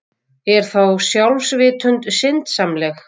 Er þá sjálfsvitund syndsamleg?